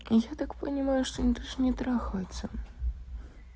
я так понимаю что они даже не трахаются